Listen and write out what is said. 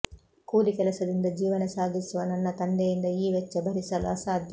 ಕೂಲಿ ಕೆಲಸದಿಂದ ಜೀವನ ಸಾಗಿಸುವ ನನ್ನ ತಂದೆಯಿಂದ ಈ ವೆಚ್ಚ ಭರಿಸಲು ಅಸಾಧ್ಯ